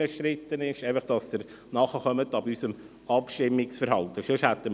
Ich sage dies, damit Sie unser Abstimmungsverhalten verstehen.